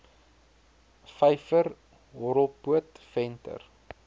vyver horrelpoot venter